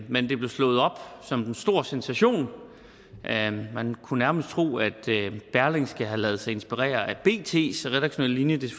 men det blev slået op som en stor sensation man kunne nærmest tro at berlingske havde ladet sig inspirere af bts redaktionelle linje det